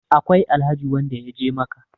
akwai Alhaji wanda ya je Makka